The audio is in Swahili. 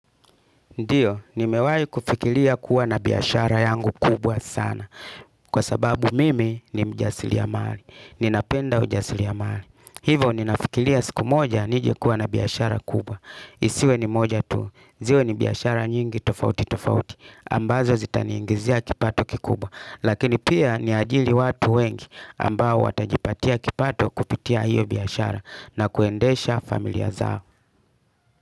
Ndiyo, nimewahi kufikira kuwa na biashara yangu kubwa sana. Kwa sababu mimi ni mjasiriamali. Ninapenda ujasiriamali. Hivo ninafikiria siku moja nije kuwa na biashara kubwa. Isiwe ni moja tu. Ziwe ni biashara nyingi tofauti tofauti ambazo zitaniingizia kipato kikubwa. Lakini pia niajiri watu wengi ambao watajipatia kipato kupitia hiyo biashara na kuendesha familia zao.